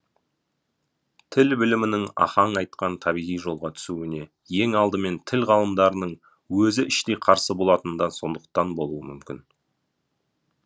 тіл білімінің ахаң айтқан табиғи жолға түсуіне ең алдымен тіл ғалымдарының өзі іштей қарсы болатыны да сондықтан болуы мүмкін